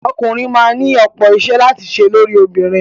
Ọkùnrin máa ni ọ̀pọ̀ iṣẹ́ láti ṣe lórí obìnrin.